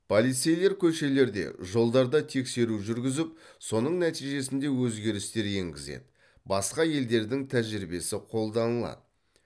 полицейлер көшелерде жолдарда тексеру жүргізіп соның нәтижесінде өзгерістер енгізеді басқа елдердің тәжірибесі қолданылады